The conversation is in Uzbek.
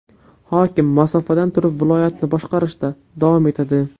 Hokim masofadan turib viloyatni boshqarishda davom etadi.